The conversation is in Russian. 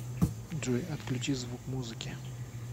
джой отключи звук музыки